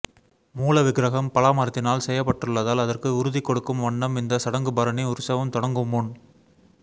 மூல விக்ரகம் பலா மரத்தினால் செய்யப்பட்டுள்ளதால் அதற்கு உறுதி கொடுக்கும் வண்ணம் இந்தச் சடங்கு பரணி உற்சவம் தொடங்கும்முன்